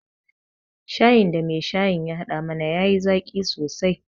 Shayin da mai shayin ya haɗa mana ya yi zaƙi sosai